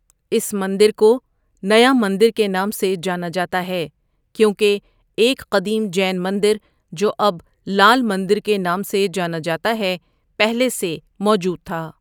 اس مندر کو نیا مندر کے نام سے جانا جاتا ہے، کیونکہ ایک قدیم جین مندر، جو اب لال مندر کے نام سے جانا جاتا ہے پہلے سے موجود تھا۔